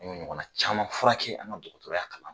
An y'o ɲɔgɔn na caman furakɛ an ka dɔgɔtɔrɔya kalan